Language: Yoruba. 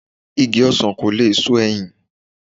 Igi ọsàn lò lè so ẹyìn